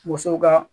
Woso ka